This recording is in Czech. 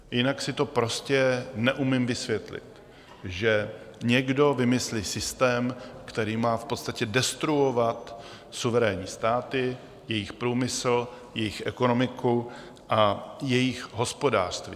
Jinak si to prostě neumím vysvětlit, že někdo vymyslí systém, který má v podstatě destruovat suverénní státy, jejich průmysl, jejich ekonomiku a jejich hospodářství.